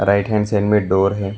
Right hand side में door है।